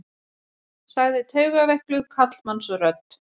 sagði taugaveikluð karlmannsrödd.